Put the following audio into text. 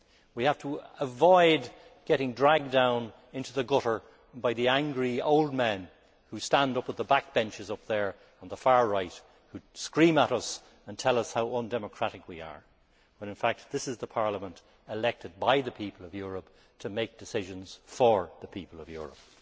We have to avoid getting dragged down into the gutter by the angry old men who stand up at the backbenches up there on the far right and who scream at us and tell us how undemocratic we are, when in fact this is the Parliament elected by the people of Europe to make decisions for the people of Europe.